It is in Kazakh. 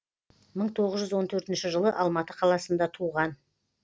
мың тоғыз жүз он төрт жылы алматы қаласында туған